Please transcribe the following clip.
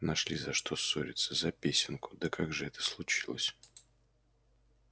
нашли за что ссориться за песенку да как же это случилось